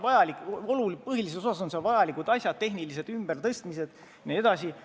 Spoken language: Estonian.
Põhilises osas on seal vajalikud asjad, tehnilised ümbertõstmised jne.